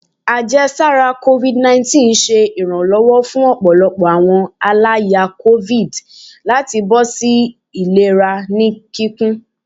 Ajẹsara covid19 ṣe iranlọwọ fun ọpọlọpọ awọn alaya covid lati bọsipọ si ilera ni kikun